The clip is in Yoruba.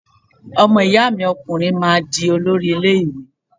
Ọmọ ìyá mi ọkùnrin máa di olórí ilé ìwé